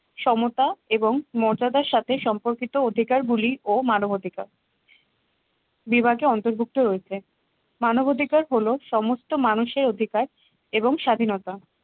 সমতা এবং মর্যাদার সাথে সম্পর্কিত অধিকার গুলি ও মানবাধিকার বিভাগে অন্তর্ভুক্ত হয়েছে। মানবাধিকার হলো সমস্ত মানুষের অধিকার এবং স্বাধীনতা